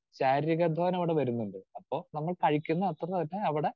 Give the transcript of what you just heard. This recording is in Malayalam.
സ്പീക്കർ 2 ശാരീരിക അധ്വാനം അവിടെ വരുന്നുണ്ട്. അപ്പോൾ നമ്മൾ കഴിക്കുന്ന അത്രതന്നെ അവിടെ